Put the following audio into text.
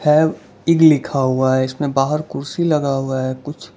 fab ईग लिखा हुआ है इसमें बाहर कुर्सी लगा हुआ है कुछ --